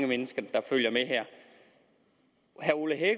mennesker der følger med her herre ole